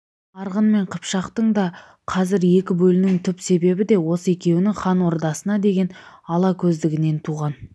арғын мен қыпшақтың да қазір екі бөлінуінің түп себебі де осы екеуінің хан ордасына деген ала көздігінен туған